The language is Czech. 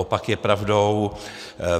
Opak je pravdou.